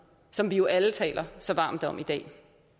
som vi jo alle taler så varmt om i dag